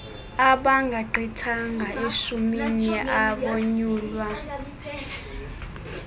abangagqithanga eshumini abonyulwa